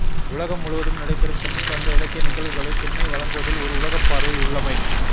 உலகம் முழுவதும் நடைபெறும் தமிழ் சார்ந்த இலக்கிய நிகழ்வுகளைத் திண்ணை வழங்குவதில் ஓர் உலகப்பார்வை உள்ளமை